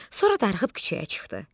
Sonra darıxıb küçəyə çıxdı.